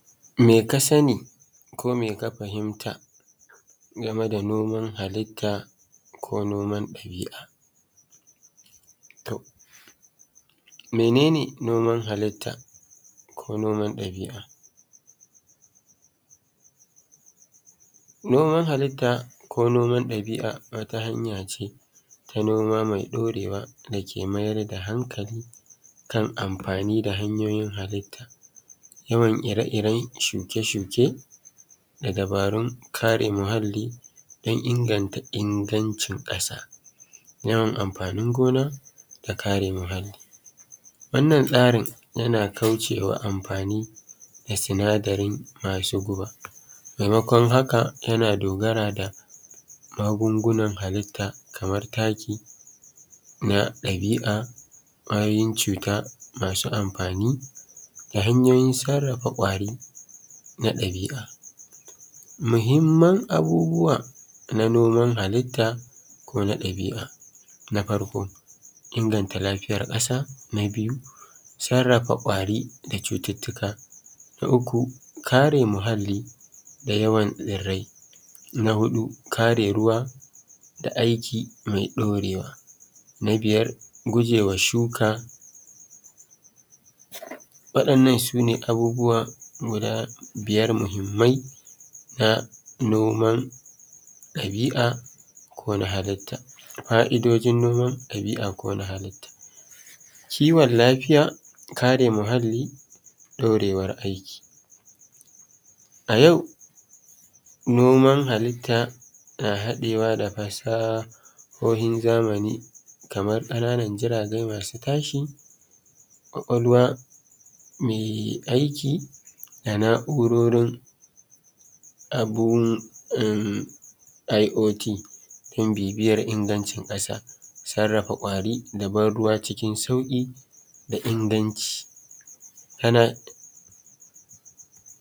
Me ka sani ko me ka fahimta game da noman halitta ko noma ɗabi'a. To mene ne noman halitta da kuma noma ɗabi'a? Noman halitta ko noma ɗabi'a wata hanya ce ta noma mai ɗaurewa dake mayar da hankali kan amfani da hanyoyin halitta yawan ire-iren shuke-shuke da dabarun kare muhalli don inganta ingancin ƙasa, tawa amfanin gona da kare muhalli. Wannan tsarin yana kaucewa amfani da sina darin masu guba, maimakon haka yana dogara ne da magungunan halita kamar taki na ɗabi'a ƙwayoyin cuta masu amfani da hanyoyin sarrafa ƙwari na ɗabi'a. Muhimman abubuwa na noman halitta ko na ɗabi'a, na farko inganta lafiyar ƙasa. Na biyu sarrafa ƙwari da cututtuka. Na uku kare muhalli da yawan tsirrai. Sai na huɗu kare ruwa da aiki mai ɗaurewa. Na biyar gujewa shuka. Waɗannan abubuwan guda biyar mahimmai na noman ɗabi'a ko na halitta. Ƙaidojin noman ɗabi'a ko na halitta kiwon lafiya, kare muhalli ɗaurewar aiki. A yau noman haliita na hadewa da fasahohin zamani kamar ƙananan jirage masu tashi, kwakwalwa mai aiki da na'urorin abun IOT don bibiyar ingancin ƙasa, sarrafa ƙwari da ban ruwa cikin sauƙin da inganci.